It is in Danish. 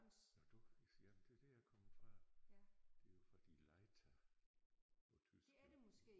Nåh du jamen det det jeg kommet fra det jo fordi Leiter på tysk jo